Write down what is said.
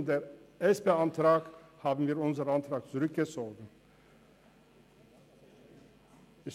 Zugunsten dieses Antrages haben wir unseren Antrag zurückgezogen.